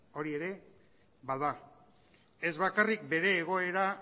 hori ere bada ez bakarrik bere egoera